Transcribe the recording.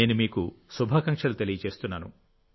నేను మీకు శుభాకాంక్షలు తెలియజేస్తున్నాను